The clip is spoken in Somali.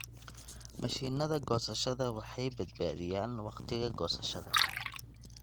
Mashiinnada goosashada waxay badbaadiyaan wakhtiga goosashada.